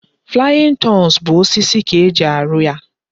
Flying turns bụ osisi ka e ji rụọ ya